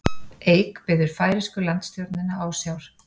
Eik biður færeysku landstjórnina ásjár